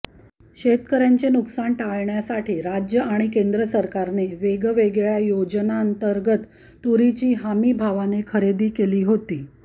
शेतकर्यांचे नुकसान टाळण्यासाठी राज्य आणि केंद्र सरकारने वेगवेगळ्या योजनांतर्गत तुरीची हमीभावाने खरेदी केली होती